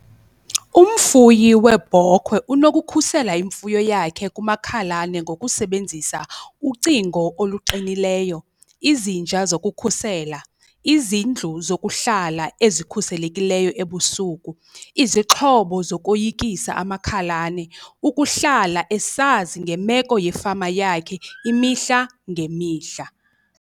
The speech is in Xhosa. Umfuyi weebhokhwe unokukhusela imfuyo yakhe kumakhalane ngokusebenzisa ucingo oluqinileyo, izinja zokukhusela, izindlu zokuhlala ezikhuselekileyo ebusuku, izixhobo zokoyikisa amakhalane, ukuhlala esazi ngemeko yefama yakhe imihla ngemihla.